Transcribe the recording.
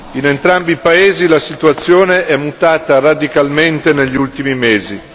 In entrambi i paesi la situazione è mutata radicalmente negli ultimi mesi.